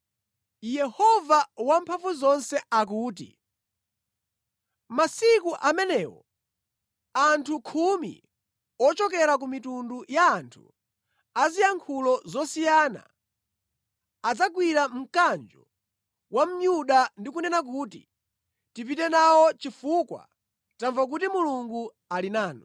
Yehova Wamphamvuzonse akuti, “Masiku amenewo anthu khumi ochokera ku mitundu ya anthu a ziyankhulo zosiyana adzagwira mkanjo wa Myuda ndi kunena kuti, ‘Tipite nawo, chifukwa tamva kuti Mulungu ali nanu.’ ”